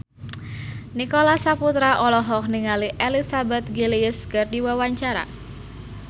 Nicholas Saputra olohok ningali Elizabeth Gillies keur diwawancara